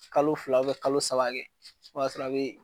Kalo fila kalo saba kɛ , o ya sɔrɔ a be